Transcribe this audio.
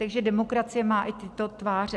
Takže demokracie má i tyto tváře.